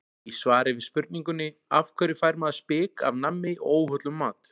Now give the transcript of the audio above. Í svari við spurningunni Af hverju fær maður spik af nammi og óhollum mat?